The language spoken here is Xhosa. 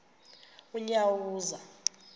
unyawuza